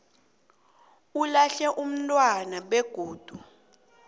olahle umntwana begodu